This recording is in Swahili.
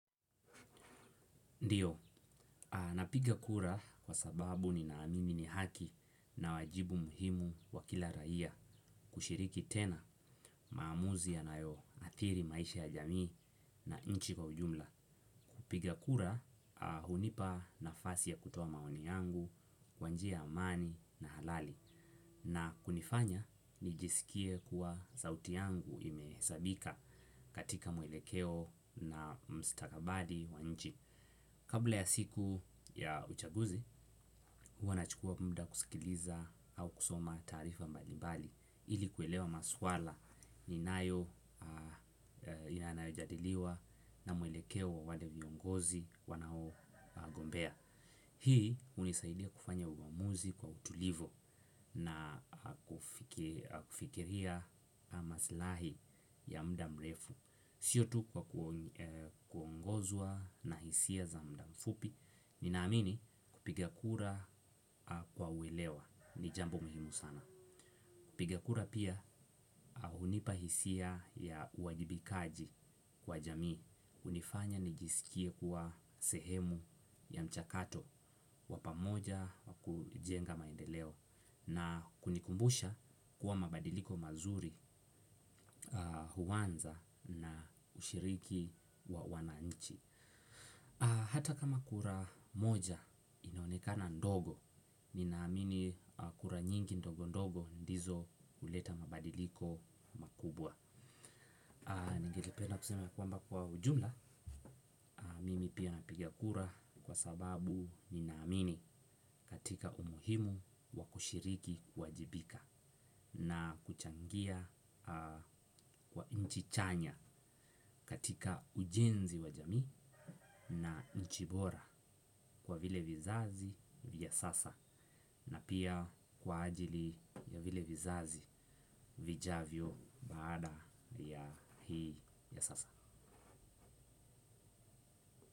Ndiyo, napiga kura kwa sababu ni naamimi ni haki na wajibu muhimu wa kila raia kushiriki tena maamuzi ya nayo athiri maisha ya jamii na inchi kwa ujumla. Kupiga kura, hunipa nafasi ya kutoa maoni yangu, kwanjia ya amani na halali. Na hunifanya, nijisikie kuwa sauti yangu imehesabika katika mwelekeo na mstakabadhi wa nchi. Kabla ya siku ya uchaguzi, huwa na chukua muda kusikiliza au kusoma taarifa mbalimbali ili kuelewa maswala ni nayo inanajadiliwa na mwelekeo wa wale viongozi wanao gombea. Hii hunisaidia kufanya uamuzi kwa utulivu na kufikiria maslahi ya mudamrefu. Siyotu kwa kuongozwa na hisia za mudamfupi. Ninaamini kupigakura kwa uelewa ni jambo muhimu sana. Kupigakura pia hunipahisia ya uwajibikaji kwa jamii hunifanya nijisikie kuwa sehemu ya mchakato wa pamoja kujenga maendeleo na kunikumbusha kuwa mabadiliko mazuri huanza na ushiriki wa wananchi hata kama kura moja inaonekana ndogo ninaamini kura nyingi ndogo ndogo ndizo huleta mabadiliko makubwa ningelipenda kusema kwamba kwa ujumla mimi pia napiga kura kwa sababu ninaamini katika umuhimu wakushiriki kuajibika na kuchangia kwa nchichanya katika ujenzi wa jamii na nchibora kwa vile vizazi vya sasa na pia kwa ajili ya vile vizazi vijavyo baada ya hii ya sasa.